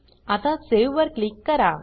आता सावे वर क्लिक करा